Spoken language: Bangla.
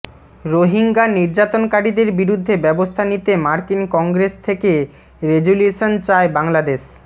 রোহিঙ্গা নির্যাতনকারীদের বিরুদ্ধে ব্যবস্থা নিতে মার্কিন কংগ্রেস থেকে রেজ্যুলিউশন চায় বাংলাদেশ